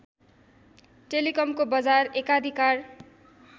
टेलिकमको बजार एकाधिकार